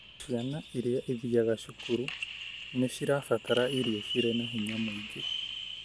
Ciana iria ithiaga cukuru nĩ cirabatara ĩrio cirĩ na hinya mwingĩ.